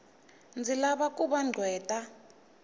ndzi lava ku va gqweta